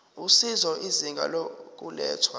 usizo izinga lokulethwa